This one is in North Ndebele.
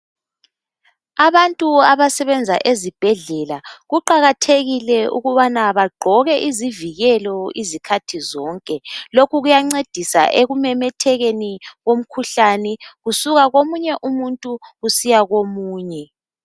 Abantu abasebenza ezibhedlela kuqakathekile ukubana baqgoke izivikelo izikhathi zonke lokhu kuyancedisa ekumemethekeni komkhuhlane kusuka komunye umuntu kusiya komunye